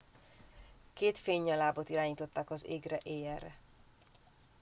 két fénynyalábot irányítottak az égre éjjelre